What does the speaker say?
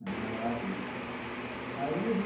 Minha mãe morava aqui, né.